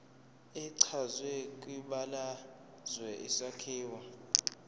echazwe kwibalazwe isakhiwo